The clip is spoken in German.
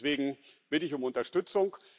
Deswegen bitte ich um Unterstützung.